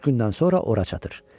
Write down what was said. Üç gündən sonra ora çatır.